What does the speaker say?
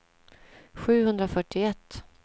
sjuhundrafyrtioett